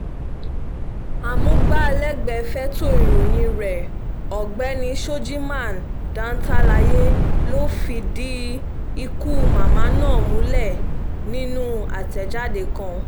amúgbálẹ́gbẹ̀ẹ́ fẹ̀tọ́ ìròyìn rẹ̀ ọ̀gbẹ́ni shojiman dantalaye ló fìdí ikú màmá ná múlẹ̀ nínú àtẹ̀jáde kan